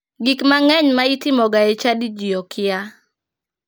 Gik mang'eny ma itimoga e chadi ji okia.